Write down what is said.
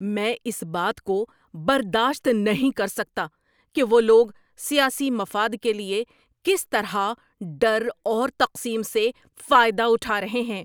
میں اس بات کو برداشت نہیں کر سکتا کہ وہ لوگ سیاسی مفاد کے لیے کس طرح ڈر اور تقسیم سے فائدہ اٹھا رہے ہیں۔